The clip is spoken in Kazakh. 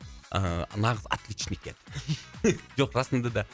ыыы нағыз отличник еді жоқ расында да